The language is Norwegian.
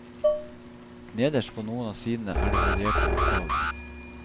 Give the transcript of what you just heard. Nederst på noen av sidene er det varierte oppgaver.